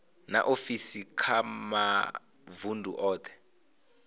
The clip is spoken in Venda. na ofisi kha mavundu othe